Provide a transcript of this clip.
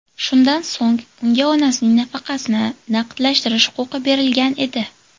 Shundan so‘ng unga onasining nafaqasini naqdlashtirish huquqi berilgan edi.